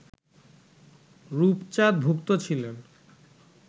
রূপচাঁদ ভুক্ত ছিলেন